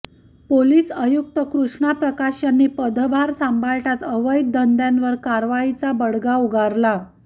police आयुक्त कृष्ण प्रकाश यांनी पदभार सांभाळताच अवैध धंद्यांवर कारवाईचा बडगा उगारला